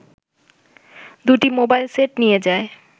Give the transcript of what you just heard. ২টি mobile set নিয়ে যায়